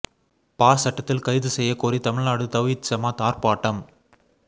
பா சட்டத்தில் கைது செய்ய கோரி தமிழ்நாடு தவ்ஹீத் ஜமாத் ஆர்ப்பாட்டம்